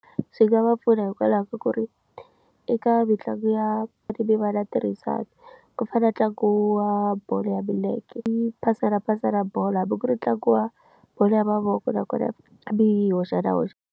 Swi nga va pfuna hikwalaho ka ku ri eka mitlangu ya mivala tirhisana ku fana na ntlangu wa bolo ya milenge yi pasela pasela bolo hambi ku ri tlangiwa bolo ya mavoko nakona hambi yi hoxa na hoxa.